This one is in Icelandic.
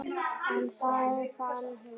En hvað fann hún?